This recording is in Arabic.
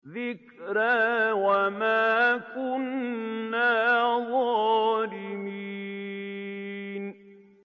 ذِكْرَىٰ وَمَا كُنَّا ظَالِمِينَ